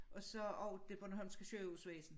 Og så også det bornholmske sygehusvæsen